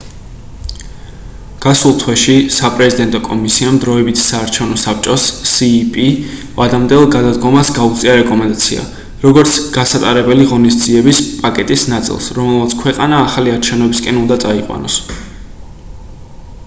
გასულ თვეში საპრეზიდენტო კომისიამ დროებითი საარჩევნო საბჭოს cep ვადამდელ გადადგომას გაუწია რეკომენდაცია როგორც გასატარებელი ღონისძიების პაკეტის ნაწილს რომელმაც ქვეყანა ახალი არჩევნებისკენ უნდა წაიყვანოს